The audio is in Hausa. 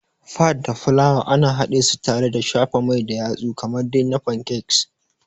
Fat da fulawa ana hadesu tare da shafa mai da yatsu kamar dai na Pancakes.